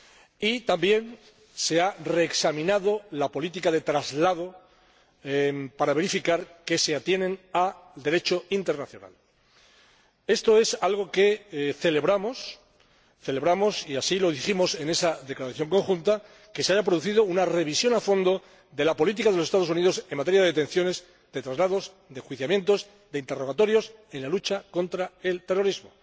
Y también se ha reexaminado la política de traslado para verificar que se atiene al Derecho internacional. Esto es algo que celebramos, y así lo dijimos en esa declaración conjunta celebramos que se haya producido una revisión a fondo de la política de los Estados Unidos en materia de detenciones, de traslados, de enjuiciamientos, de interrogatorios en la lucha contra el terrorismo.